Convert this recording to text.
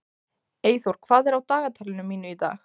Eyþór, hvað er á dagatalinu mínu í dag?